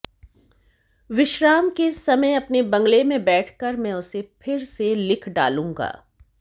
विश्राम के समय अपने बंगले में बैठकर मैं उसे फिर से लिख डालूंगा